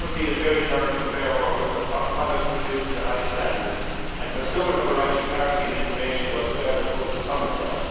Farmers need a fair return for fair work and for products produced to the highest standards, and consumers have a right to clarity and information about where their food is coming from.